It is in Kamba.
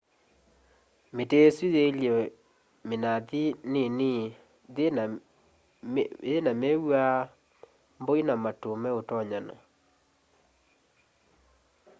miti isu yielye minathi nini yina miva mbũi na matu meutonyana